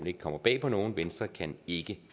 ikke kommer bag på nogen venstre kan ikke